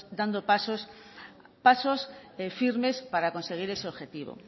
dando pasos pasos firmes para conseguir ese objetivo